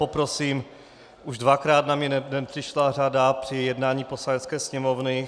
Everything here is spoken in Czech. Poprosím - už dvakrát na mě nepřišla řada při jednání Poslanecké sněmovny.